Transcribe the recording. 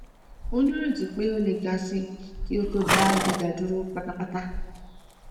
mo nireti pe o le ga si ki o to da giga duro patapata